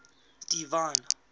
divine